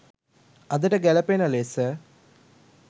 අදට ගැලපෙන ලෙස